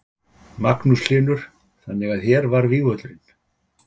Magnús Hlynur: Þannig að hér var vígvöllurinn?